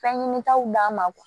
Fɛn ɲinitaw d'an ma